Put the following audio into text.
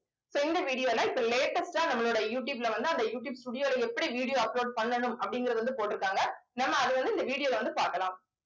so இந்த video ல இப்ப latest ஆ நம்மளோட யூடியூப்ல வந்து அந்த யூடியூப் studio ல எப்படி video upload பண்ணணும் அப்படிங்கறதை வந்து போட்டிருக்காங்க. நம்ம அதை வந்து இந்த video ல வந்து பார்க்கலாம்